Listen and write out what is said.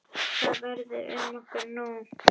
Hvað verður um okkur nú?